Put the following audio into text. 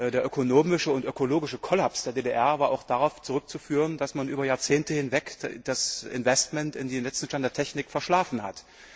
Der ökonomische und ökologische Kollaps der DDR war darauf zurückzuführen, dass man über Jahrzehnte hinweg das Investment in den letzten Stand der Technik verschlafen hat.